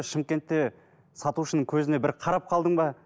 шымкентте сатушының көзіне бір қарап қалдың ба